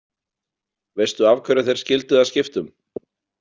Veistu af hverju þeir skildu að skiptum?